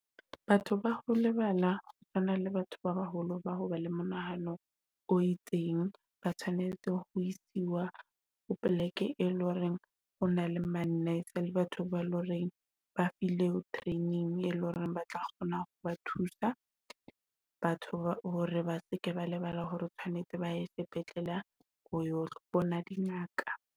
Batho ba ho lebala ho tshwana le batho ba baholo ba hoba le monahano o itseng, ba tshwanetse ho isiwa ho pleke, e leng hore o na le ma-nurse le batho ba ba le hore ba file training, e leng hore ba tla kgona ho ba thusa. Batho ba hore ba seke ba lebala hore o tshwanetse ba he sepetlele ho yo bona dingaka